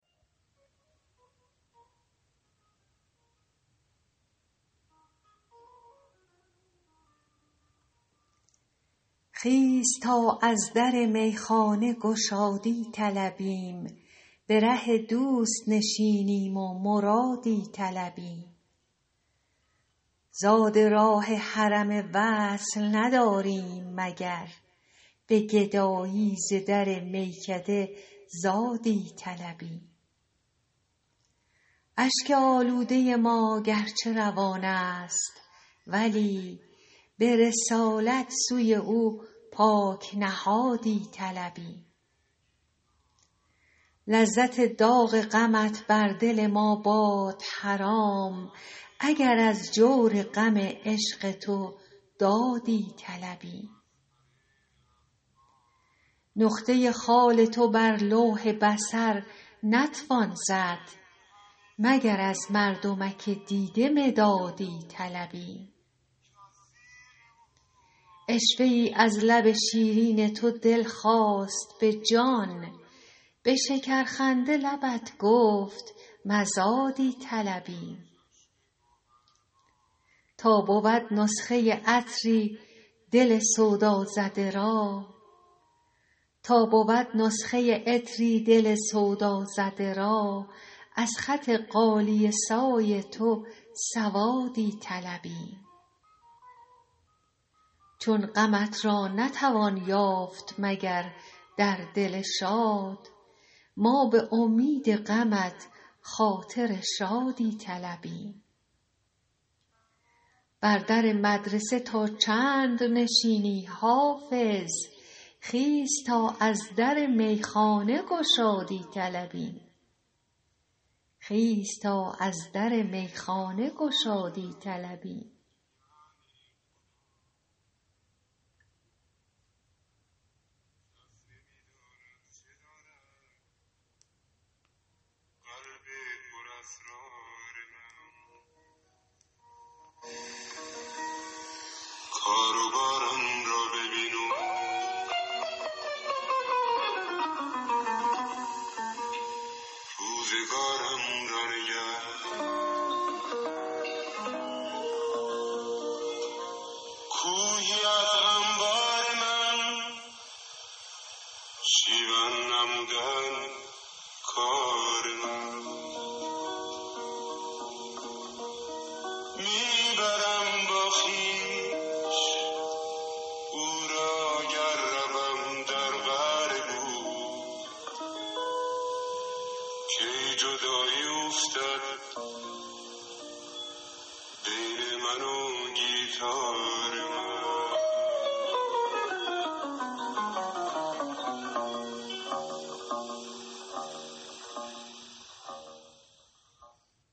خیز تا از در میخانه گشادی طلبیم به ره دوست نشینیم و مرادی طلبیم زاد راه حرم وصل نداریم مگر به گدایی ز در میکده زادی طلبیم اشک آلوده ما گرچه روان است ولی به رسالت سوی او پاک نهادی طلبیم لذت داغ غمت بر دل ما باد حرام اگر از جور غم عشق تو دادی طلبیم نقطه خال تو بر لوح بصر نتوان زد مگر از مردمک دیده مدادی طلبیم عشوه ای از لب شیرین تو دل خواست به جان به شکرخنده لبت گفت مزادی طلبیم تا بود نسخه عطری دل سودازده را از خط غالیه سای تو سوادی طلبیم چون غمت را نتوان یافت مگر در دل شاد ما به امید غمت خاطر شادی طلبیم بر در مدرسه تا چند نشینی حافظ خیز تا از در میخانه گشادی طلبیم